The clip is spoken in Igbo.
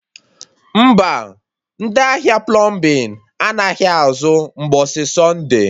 Mba, ndị ahịa plọmbin anaghị azụ mgbọsị Sọnde